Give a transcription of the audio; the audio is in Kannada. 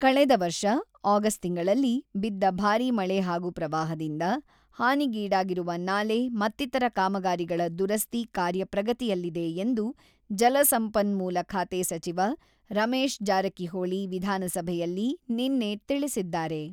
ಕಳೆದ ವರ್ಷ ಆಗಸ್ಟ್ ತಿಂಗಳಲ್ಲಿ ಬಿದ್ದ ಭಾರಿ ಮಳೆ ಹಾಗೂ ಪ್ರವಾಹದಿಂದ ಹಾನಿಗೀಡಾಗಿರುವ ನಾಲೆ ಮತ್ತಿತರ ಕಾಮಗಾರಿಗಳ ದುರಸ್ತಿ ಕಾರ್ಯ ಪ್ರಗತಿಯಲ್ಲಿದೆ ಎಂದು ಜಲಸಂಪನ್ಮೂಲ ಖಾತೆ ಸಚಿವ ರಮೇಶ್ ಜಾರಕಿಹೊಳಿ ವಿಧಾನಸಭೆಯಲ್ಲಿ ನಿನ್ನೆ ತಿಳಿಸಿದ್ದಾರೆ.